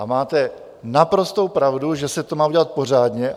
A máte naprostou pravdu, že se to má udělat pořádně.